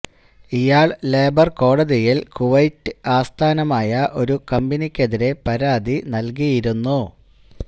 ഇയാള് ലേബര് കോടതിയില് കുവൈറ്റ് ആസ്ഥാനമായ ഒരു കമ്പനിക്കെതിരെ പരാതി നല്കിയിരുന്നു